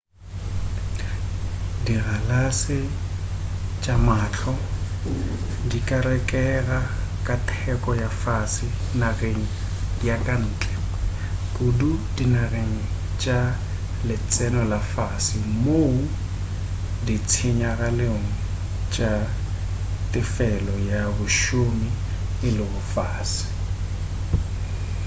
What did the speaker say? dikgalase tša mahlo di ka rekega ka teko ya fase nageng ya ka ntle kudu dinageng tša letseno la fase moo ditshenyagalelo tša tefelo ya bašomi e lego fase